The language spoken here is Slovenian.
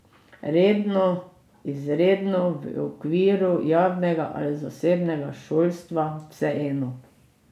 Redno, izredno, v okviru javnega ali zasebnega šolstva, vseeno.